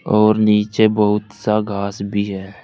और नीचे बहुत सा घास भी है।